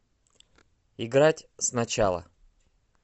играть сначала